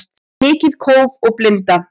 Mikið kóf og blinda